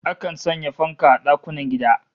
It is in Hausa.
Akan sanya fanka a dakunan gida